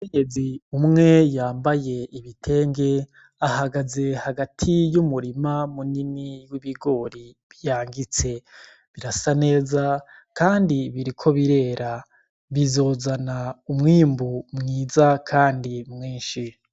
Umukenyezi umwe yambaye igitenge ahagaze hagati y'umurima munini w'ibigori vyangitse, birasa neza kandi biriko birera. Bizozana umwimbu mwiza kandi mwinshi.